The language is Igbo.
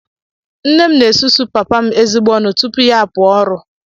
Nne m na-esusu papa m ezigbo ọnụ tupu ya apụọ ọrụ